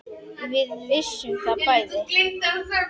Við vissum það bæði.